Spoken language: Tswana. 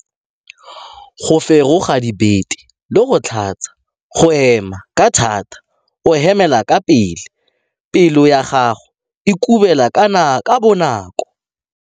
Go feroga dibete le go tlhatsa. Go hema ka thata o hemela ka pele. Pelo ya gago e kubela ka bonako.